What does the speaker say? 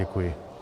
Děkuji.